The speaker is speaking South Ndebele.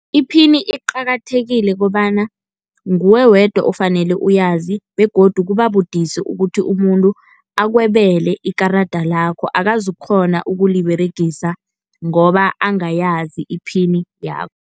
Iphini iqakathekile kobana nguwe wedwa ofanele uyazi begodu kuba budisi ukuthi umuntu akwebele ikarada lakho, akaz' ukukghona ukuliberegisa ngoba angayazi iphini .